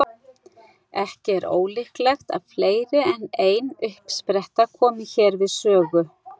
Ekki er ólíklegt að fleiri en ein uppspretta komi hér við sögu.